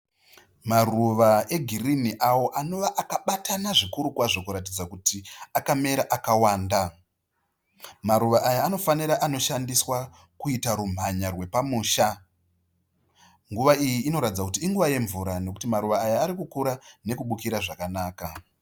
Maruva egirinhi awo anova akabatana zvikuru kwazvo kuratidza kuti akamera akawanda. Maruva aya anofanira anoshandiswa kuita rumhanya rwepamusha. Nguva iyi inoratidza kuti inguva yemvura nekuti maruva aya ari kukura nekubukira zvakanaka